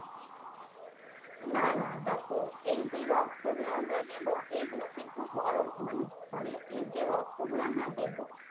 না না দেখো এইযে রক্ত গুলো আমরা নেবো এগুলো কিন্তু বড়ো মানে sorry এই যে রক্ত গুলো দেব